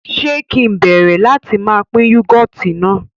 Ṣe kì ń bẹ̀rẹ̀ láti má pín "Yúgọ́ọ́tì" náà